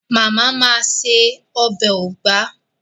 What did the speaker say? Màmá màa se ọbẹ̀ ugba.